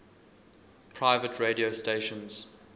private radio stations